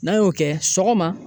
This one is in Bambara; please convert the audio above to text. N'an y'o kɛ sɔgɔma.